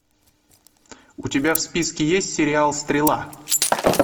у тебя в списке есть сериал стрела